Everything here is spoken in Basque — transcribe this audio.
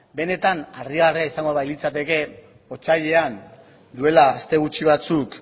benetan harrigarria izango balitzateke otsailean duela aste gutxi batzuk